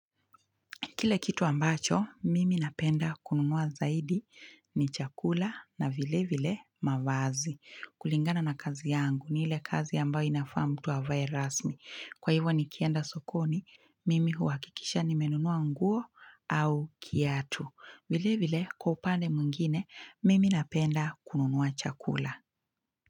Kile kitu ambacho, mimi napenda kununua zaidi ni chakula na vile vile mavazi. Kulingana na kazi yangu, ni ile kazi ambayo inafaa mtu avae rasmi. Kwa hivyo nikienda sokoni, mimi huwakikisha nimenunua nguo au kiatu. Vile vile, kwa upande mwingine, mimi napenda kununua chakula.